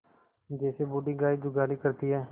जैसे बूढ़ी गाय जुगाली करती है